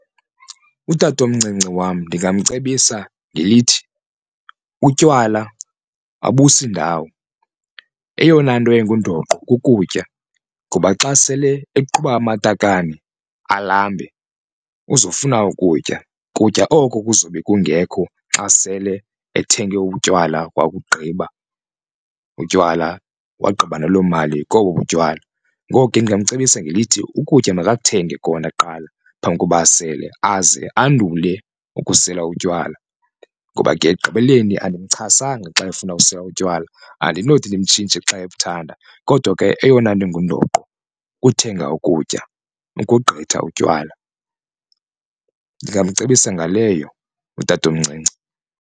Utatomncinci wam ndingamcebisa ngelithi utywala abusi ndawo eyona nto ingundoqo kukutya ngoba xa sele eqhuba amatakane alambe uzofuna ukutya kutya oko kuzobe kungekho xa sele ethenge utywala wakugqiba utywala wagqiba naloo mali kobo butywala. Ngoko ke ndingamcebisa ngelithi ukutya makakuthenge kona kuqala phambi koba asele, aze andule ukusela utywala ngoba ke ekugqibeleni andimxhasanga xa efuna ukusela utywala andinothi ndimtshintshe xa ebuthanda. Kodwa ke eyona nto ingundoqo kuthenga ukutya ukogqitha utywala, ndingamcebisa ngaleyo utatomncinci.